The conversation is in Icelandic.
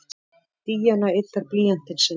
Díana yddar blýantinn sinn.